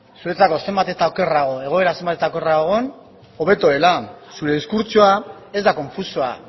zuretzako egoera zenbat eta okerrago egon hobeto dela zure diskurtsoa ez da konfusoa